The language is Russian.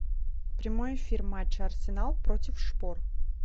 прямой эфир матча арсенал против шпор